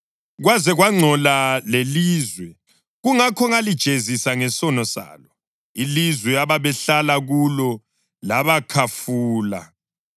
Kwaze kwangcola lelizwe; kungakho ngalijezisa ngesono salo, ilizwe ababehlala kulo labakhafula.